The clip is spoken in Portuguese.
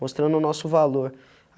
Mostrando o nosso valor.